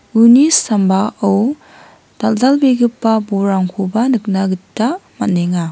uni sambao dal·dalbegipa bolrangkoba nikna gita man·enga.